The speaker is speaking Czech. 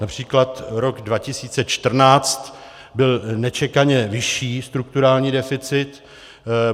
Například rok 2014 byl nečekaně vyšší strukturální deficit.